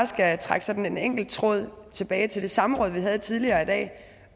skal trække sådan en enkelt tråd tilbage til det samråd vi havde tidligere i dag